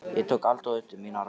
Ég tók Adolf upp á mína arma.